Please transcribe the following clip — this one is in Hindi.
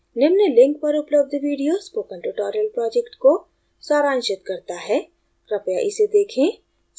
निम्न link पर उपलब्ध video spoken tutorial project को सारांशित करता है कृपया इसे देखें